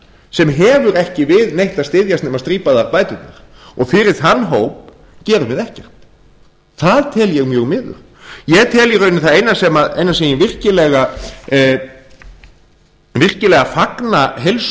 sem hefur ekki við að styðjast nema strípaðar bæturnar fyrir þann hóp gerum við ekkert það tel ég mjög miður ég tel að í rauninni það eina sem ég virkilega fagna heils